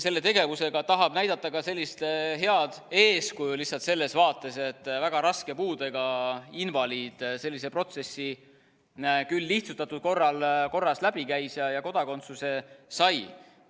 Selle tegevusega tahab ta näidata ka sellist head eeskuju, lihtsalt selles mõttes, et väga raske puudega invaliid sellise protsessi küll lihtsustatud korras läbi käis ja kodakondsuse sai.